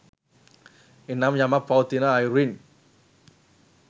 එනම් යමක් පවතින අයුරින්